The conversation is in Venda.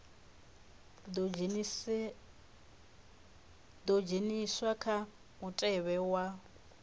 ḓo dzheniswa kha mutevhe wa